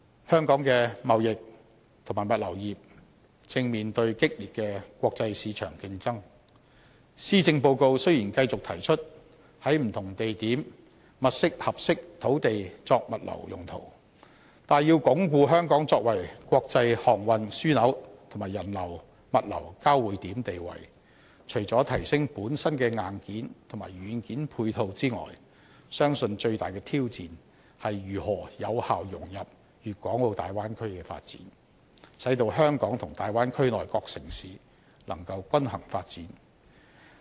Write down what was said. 香港的貿易和物流業正面對激烈的國際市場競爭，施政報告雖然繼續提出在不同地點物色合適土地作物流用途，但要鞏固香港作為國際航運樞紐和人流物流交匯點的地位，除了提升本身的硬件和軟件配套之外，相信最大的挑戰，是如何有效融入大灣區的發展，使到香港及大灣區內各城市能夠均衡發展。